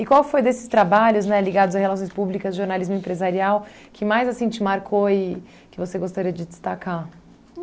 qual foi desses trabalhos, né, ligados a relações públicas, jornalismo empresarial, que mais assim te marcou e que você gostaria de destacar?